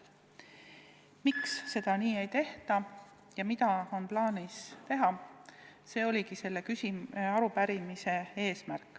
Miks seda ei tehta ja mida on plaanis teha ongi selle arupärimise põhiküsimus.